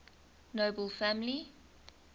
nobel family